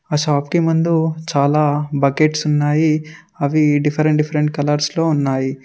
ఆ షాప్ కి మందు చాలా బకెట్స్ ఉన్నాయి అవి డిఫరెంట్ డిఫరెంట్ కలర్స్ లో ఉన్నాయి.